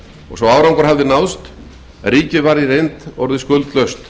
og sá árangur hafði náðst að íslenska ríkið var í reynd orðið skuldlaust